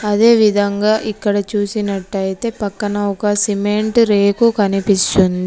అదేవిధంగా ఇక్కడ చూసినట్టయితే పక్కన ఒక సిమెంట్ రేకు కనిపిస్తుంది.